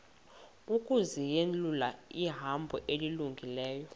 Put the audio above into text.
ukuzinyulela ihambo elungileyo